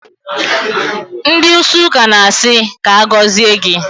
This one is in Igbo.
Ndị ísí ụka na-asị, "ka agọzie gị"